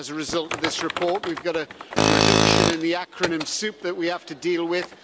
As a result of this report, we've got a reduction in the acronym soup that we have to deal with.